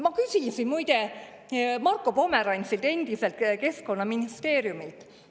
Ma küsisin muide Marko Pomerantsilt, endiselt keskkonnaministrilt.